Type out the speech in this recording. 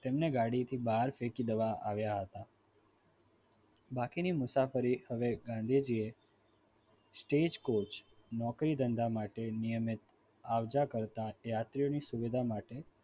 તેમણે ગાડીમાંથી બહાર ફેંકી દેવામાં આવ્યા હતા બાકીની મુસાફરી હવે ગાંધીજીએ stag coch નોકરી ધંધા માટે નિયમિત આવજો કરતા તે યાત્રીઓની સુવિધા માટે